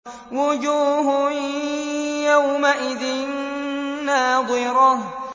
وُجُوهٌ يَوْمَئِذٍ نَّاضِرَةٌ